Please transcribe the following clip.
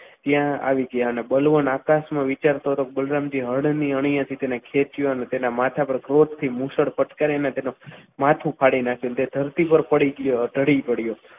ત્યાં આવી ગયા અને બલરામ આકાશમાં વિચારતો હતો કે બલરામ જી હળની અણીએથી એને ખેતીયો અને તેના માથા ઉપર જોરથી મુશળ પટકાવીને તેનું માથું ફાડી નાખ્યું તે ધરતી ઉપર પડી ગયો ઢળી પડ્યો.